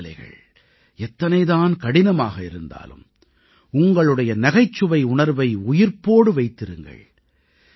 சூழ்நிலைகள் எத்தனை தான் கடினமாக இருந்தாலும் உங்களுடைய நகைச்சுவை உணர்வை உயிர்ப்போடு வைத்திருங்கள்